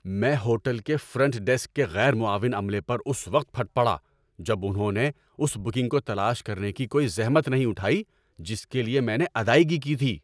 میں ہوٹل کے front desk کے غیر معاون عملے پر اس وقت پھٹ پڑا جب انہوں نے اس بکنگ کو تلاش کرنے کی کوئی زحمت نہیں اٹھائی جس کے لیے میں نے ادائیگی کی تھی۔